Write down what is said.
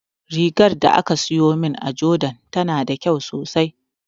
Rigar da aka siyo min a jordan tana da kyau sosai